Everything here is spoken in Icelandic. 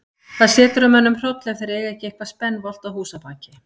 Það setur að mönnum hroll ef þeir eiga ekki eitthvað spenvolgt að húsabaki.